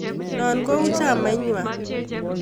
Noo ko kou chamait ng'wang.